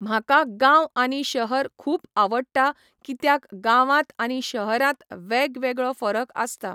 म्हाका गांव आनी शहर खूब आवडटा कित्याक गांवांत आनी शहरांत वेगवेगळो फरक आसता.